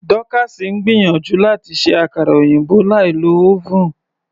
Dorcas ń gbìyànjú láti ṣe àkara òyìnbó láì lo oven.